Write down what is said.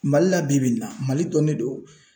Mali la bi bi in na mali dɔnnen don.